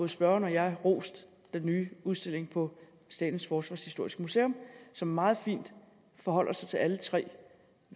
spørgeren og jeg rost den nye udstilling på statens forsvarshistoriske museum som meget fint forholder sig til alle tre